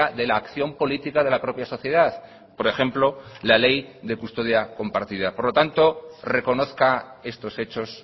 de la acción política de la propia sociedad por ejemplo la ley de custodia compartida por lo tanto reconozca estos hechos